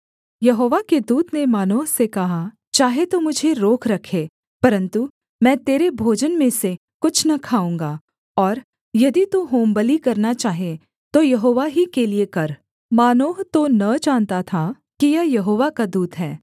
यहोवा के दूत ने मानोह से कहा चाहे तू मुझे रोक रखे परन्तु मैं तेरे भोजन में से कुछ न खाऊँगा और यदि तू होमबलि करना चाहे तो यहोवा ही के लिये कर मानोह तो न जानता था कि यह यहोवा का दूत है